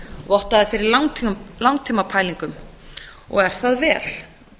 vottaði fyrir langtíma pælingum og er það vel